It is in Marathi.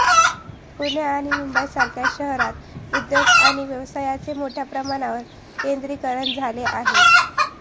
पुणे आणि मुंबईसारख्या शहरात उद्योग आणि व्यवसायांचे मोठ्या प्रमाणावर केंद्रीकरण झाले आहे